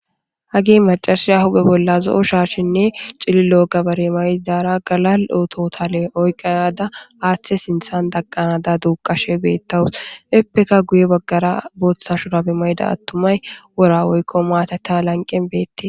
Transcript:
Hagi macarashi ahupe bolla zo'o shaashinne cililo gabare maydara galal oototale oyqaada aaththe sinthan daqqanada duuqashe beettawus eppeka guye baggara booththa shurabe mayda attumay wora oykko maatata lanqen beette.